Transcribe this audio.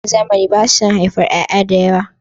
Iyayen zamani ba su son haifar ƴaƴa da yawa.